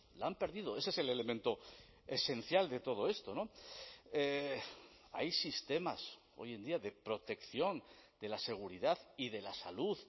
la han perdido ese es el elemento esencial de todo esto hay sistemas hoy en día de protección de la seguridad y de la salud